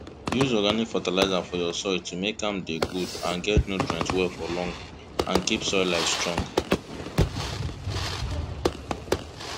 use organic fertilizer for your soil to make am dey good and get nutrient well for long and keep soil life strong